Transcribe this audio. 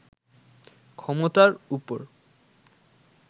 ক্ষমতার উপর